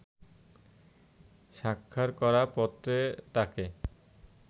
স্বাক্ষর করা পত্রে তাকে